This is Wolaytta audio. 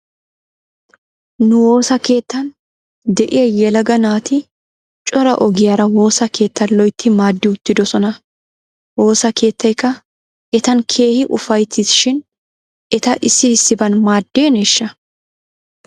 Nu woosa keettan de'iyaa yelaga naati cora ogiyaara woosa keettaa loytti maadi uttidosona. Woosa keettaykka etan keehi ufayttis shin eta issi issiban maaddeneeshsha?